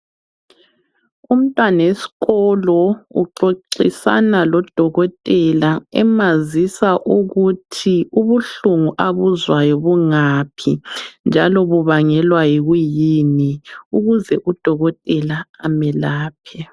Umntwanesikolo , uxoxisana lodokothela ,emazisa ukuthi ubuhlungu abuzwayo bungaphi .Njalo kubangelwa yikwiyini ukuze udokotela amelaphe.